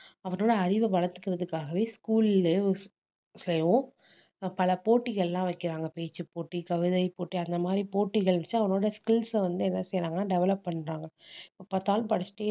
அவனோட அறிவை வளர்த்துக்கிறதுக்காகவே school லயே அஹ் பல போட்டிகள் எல்லாம் வைக்கிறாங்க பேச்சுப்போட்டி, கவிதைப் போட்டி அந்த மாதிரி போட்டிகள் வச்சு அவனோட skills அ வந்து என்ன செய்றாங்கன்னா develop பண்றாங்க எப்ப பார்த்தாலும் படிச்சிட்டே